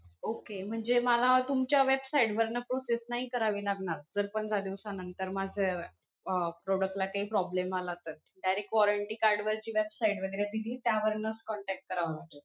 Okay. म्हणजे मला तुमच्या website वरन process नाही करावी लागणार, जर पंधरा दिवसानंतर माझं अं product ला काही problem आला तर, direct warranty card वरची website वैगेरे दिली, त्यावरुनच contact करावा लागेल.